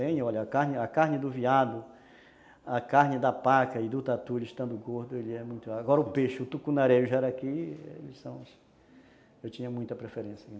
Tem, olha, a carne a carne do veado, a carne da paca e do tatu, estando gordo, ele é muito... Agora o peixe, o tucunaré e o jaraqui, eles são... Eu tinha muita preferência.